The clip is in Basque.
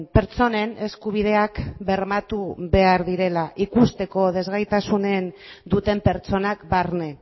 pertsonen eskubideak bermatu behar direla ikusteko desgaitasunen duten pertsonak barne